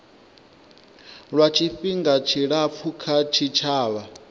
lwa tshifhinga tshilapfu kha tshitshavha